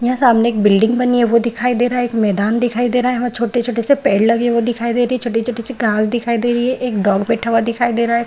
यहाँ सामने बिल्डिंग बनी हुई है वो दिखाई दे रहा है एक मैदान दिखाई दे रहा है वहाँ छोटे छोटे से पेड़ लगे हुए दिखाई दे रही है छोटे छोटे से घास दिखाई दे रही है एक डॉग बैठा हुआ दिखाई दे रहा है ।